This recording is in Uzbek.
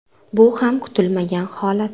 Bu ham kutilmagan holat.